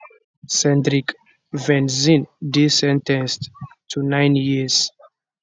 cendric venzin dey sen ten ced to nine years